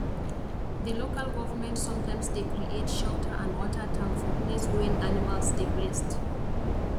the local government sometimes dey create shelter and water tank for place wen animal dey rest